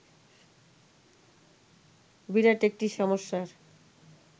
বিরাট একটি সমস্যার